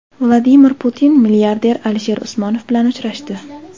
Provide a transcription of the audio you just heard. Vladimir Putin milliarder Alisher Usmonov bilan uchrashdi.